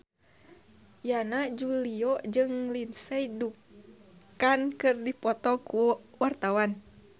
Yana Julio jeung Lindsay Ducan keur dipoto ku wartawan